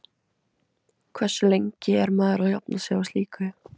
Hversu lengi er maður að jafna sig á slíku?